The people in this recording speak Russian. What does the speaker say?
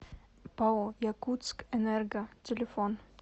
пао якутскэнерго телефон